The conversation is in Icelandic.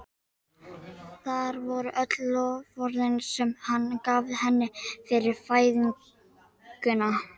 Hvar voru öll loforðin sem hann gaf henni fyrir fæðinguna?